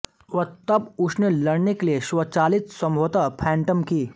वह तब उनसे लड़ने के लिए स्वाचालित संभवतः फैण्टम की